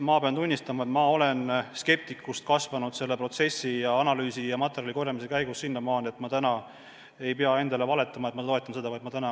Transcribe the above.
Pean tunnistama, et kuigi ma olin skeptik, olen ma selle analüüsi ja materjali korjamise käigus nüüd nii palju kasvanud, et ma täna ei pea endale valetama, et ma toetan seda ideed.